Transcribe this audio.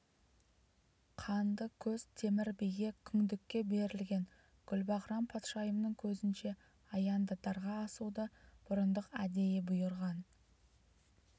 қанды көз темір биге күңдікке берілген гүлбаһрам-патшайымның көзінше аянды дарға асуды бұрындық әдейі бұйырған